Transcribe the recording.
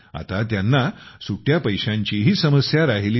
आता त्यांना सुट्ट्या पैशाचीही समस्या राहिली नाही